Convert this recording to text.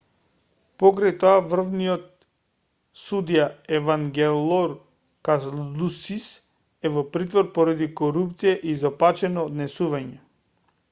покрај тоа врвниот судија евангелор калусис е во притвор поради корупција и изопачено однесување